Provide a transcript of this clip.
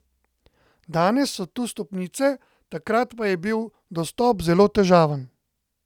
Danes so tu stopnice, takrat pa je bil dostop zelo težaven.